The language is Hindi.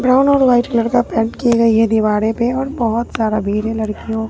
ब्राउन और वाइट कलर का पेंट की गई है दीवारें पे और बहोत सारा भीड़ है लड़कियों--